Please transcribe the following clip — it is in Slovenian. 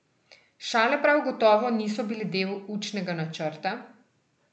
Šale prav gotovo niso bile del učnega načrta.